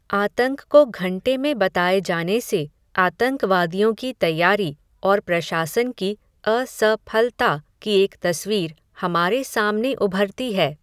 आतंक को घंटे में बताए जाने से, आतंकवादियों की तैयारी, और प्रशासन की अ स फलता की एक तस्वीर, हमारे सामने उभरती है